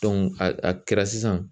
a a kɛra sisan